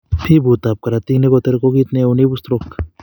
Piput ab korotik nekoterok ko kiit neo neibu stroke